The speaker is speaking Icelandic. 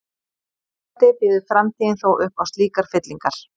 Vonandi býður framtíðin þó upp á slíkar fyllingar.